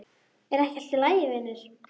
Er ekki allt í lagi vinur?